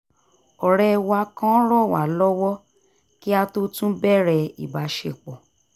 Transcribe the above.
ọ̀rẹ́ wa kan ràn wá lọ́wọ́ kí a tó tún bẹ̀rẹ̀ ìbáṣepọ̀